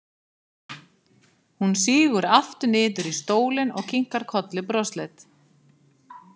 Hún sígur aftur niður í stólinn og kinkar kolli brosleit.